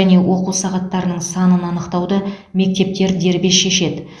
және оқу сағаттарының санын анықтауды мектептер дербес шешеді